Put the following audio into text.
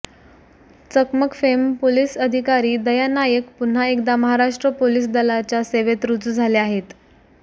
चकमक fame police अधिकारी दया नायक पुन्हा एकदा महाराष्ट्र पोलीस दलाच्या सेवेत रुजू झाले आहेत